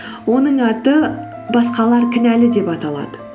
оның аты басқалар кінәлі деп аталады